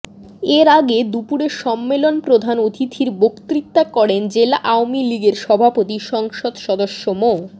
এর আগে দুপুরে সম্মেলনে প্রধান অতিথির বক্তৃতা করেন জেলা আওয়ামী লীগের সভাপতি সংসদ সদস্য মো